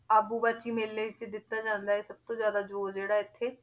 ਆਬੂ ਬਰਸ਼ੀ ਮੇਲੇ ਵਿੱਚ ਦਿੱਤਾ ਜਾਂਦਾ ਹੈ, ਸਭ ਤੋਂ ਜ਼ਿਆਦਾ ਜ਼ੋਰ ਜਿਹੜਾ ਇੱਥੇ